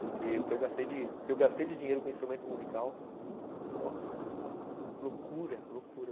Porque o que eu gastei de dinheiro com instrumento musical, nossa, é uma loucura, loucura.